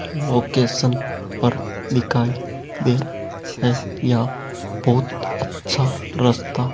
location पर दिखाई दे रहा है यहां बहुत अच्छा रास्ता --